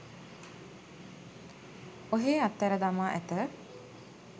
ඔහේ අතහැර දමා ඇත